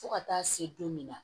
Fo ka taa se don min na